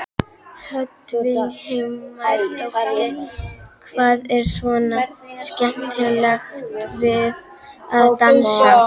Hödd Vilhjálmsdóttir: Hvað er svona skemmtilegt við að dansa?